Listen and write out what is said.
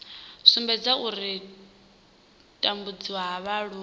sumbedza u tambudziwa ha vhaaluwa